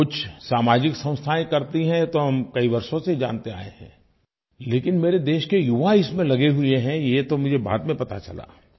कुछ सामाजिक संस्थायें करती हैं ये तो हम कई वर्षों से जानते आए हैं लेकिन मेरे देश के युवा इसमें लगे हुए हैं ये तो मुझे बाद में पता चला